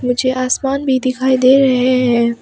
मुझे आसमान भी दिखाई दे रहे हैं।